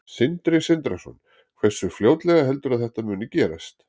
Sindri Sindrason: Hversu fljótlega heldurðu að þetta muni gerast?